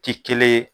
Ti kelen ye